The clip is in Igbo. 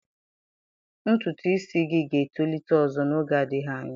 Ntutu isi gị ga-etolite ọzọ n'oge adịghị anya.